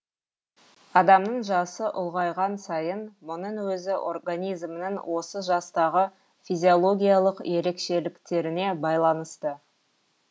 адамның жасы ұлғайған сайын мұның өзі организмнің осы жастағы физиологиялық ерекшеліктеріне байланысты